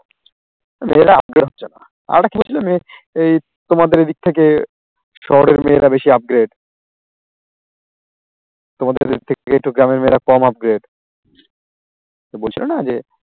মেয়েরা upgrade হচ্ছে না, আর একটা কি বলছিলে তোমাদের এদিক থেকে শহরের মেয়েরা বেশি upgrade তোমাদের গ্রামের মেয়েরা কম upgrade তো বলছিলে না যে